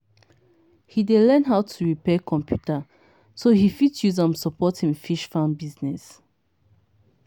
he dey learn how to repair computer so he fit use am support him fish farm business.